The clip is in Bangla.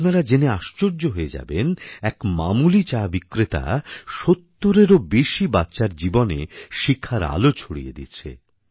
আপনারা জেনে আশ্চর্য হয়ে যাবেন এক মামুলি চাবিক্রেতা সত্তরেরও বেশি বাচ্চার জীবনে শিক্ষার আলো ছড়িয়ে দিচ্ছে